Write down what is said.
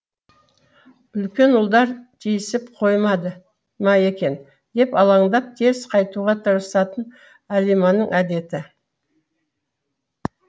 үлкен ұлдар тисіп қоймады ма екен деп алаңдап тез қайтуға тырысатын алиманың әдеті